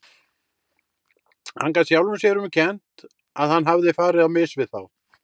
Hann gat sjálfum sér um kennt að hann hafði farið á mis við þá.